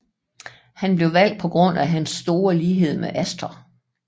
Han blev valgt på grund af hans store lighed med Astor